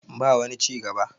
ba wani ci gaba